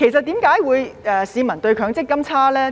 主席，為何市民對強積金印象差呢？